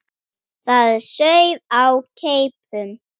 Það sauð á keipum.